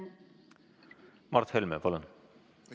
Mart Helme, palun!